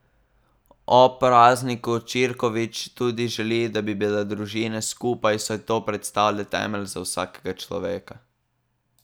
Ob prazniku Ćirković tudi želi, da bi bile družine skupaj, saj to predstavlja temelj za vsakega človeka.